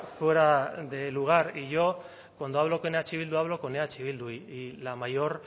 fuera de lugar yo cuando hablo con eh bildu hablo con eh bildu y la mayor